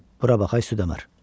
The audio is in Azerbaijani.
Bura bax ay süddəmər.